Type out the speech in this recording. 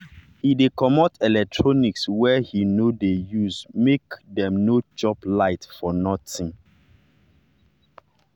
he dey comot electronics wey he no dey usemake dem no dey chop light for nothing.